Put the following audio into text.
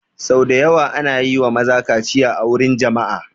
Sau da yawa ana yi wa maza kaciya a wurin jama'a